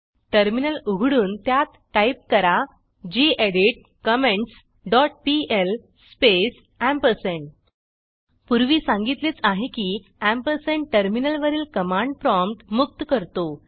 terminal उघडून त्यात type करा gedit comments dot PL space पूर्वी सांगितलेच आहे की एम्परसँड टर्मिनलवरील कमांड प्रॉम्प्ट मुक्त करतो